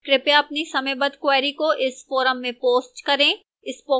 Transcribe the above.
कृपया अपनी समयबद्ध queries को इस forum में post करें